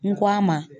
N ko a ma